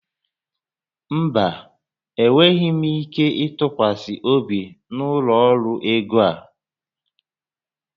Mba, enweghị ike ịtụkwasị obi n'ụlọ ọrụ ego a